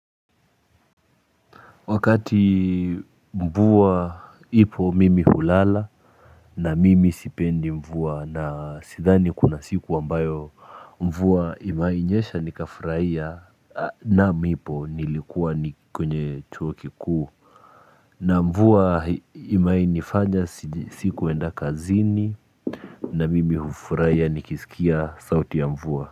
Wakati mvua ipo mimi hulala na mimi sipendi mvua na sidhani kuna siku ambayo mvua imewahi nyesha nikafurahia na nipo nilikuwa ni kwenye chuo kikuu na mvua imewahi nifanya sikuenda kazini na mimi hufurahia nikisikia sauti ya mvua.